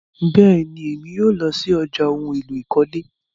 Bẹ́ẹ̀ni, Emi yóò lọ sí ọ̀já ohun èlò ìkọ́lé